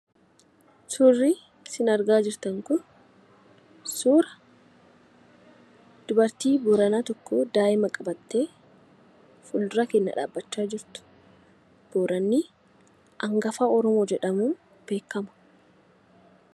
Suurri isin argaa jirtan kun suura dubartiin Booranaa tokko daa'ima qabattee fuuldura keenya dhaabbachaa jirtu. Booranni hangafa Oromoo jedhamuun beekama.